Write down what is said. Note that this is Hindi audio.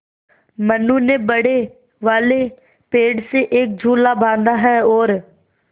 मनु ने बड़े वाले पेड़ से एक झूला बाँधा है और